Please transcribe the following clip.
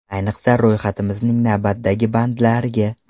Ayniqsa ro‘yxatimizning navbatdagi bandlariga.